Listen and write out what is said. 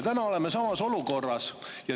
Nüüd oleme samas olukorras.